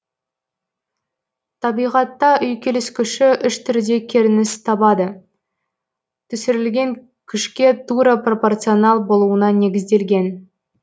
табиғатта үйкеліс күші үш түрде керініс табады түсірілген күшке тура пропорционал болуына негізделген